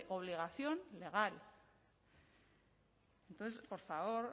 obligación legal entonces por favor